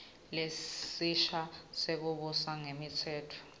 lesisha sekubusa ngemtsetfosisekelo